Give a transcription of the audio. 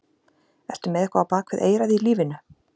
Ertu með eitthvað á bak við eyrað í lífinu?